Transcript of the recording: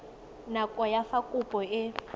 nako ya fa kopo e